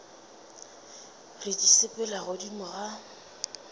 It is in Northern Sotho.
re di sepela godimo ga